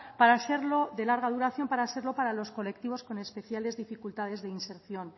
de larga duración para serlo para los colectivos con especiales dificultades de inserción